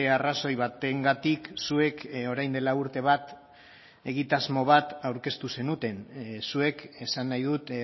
arrazoi batengatik zuek orain dela urte bat egitasmo bat aurkeztu zenuten zuek esan nahi dut